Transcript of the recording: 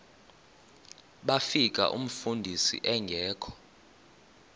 bafika umfundisi engekho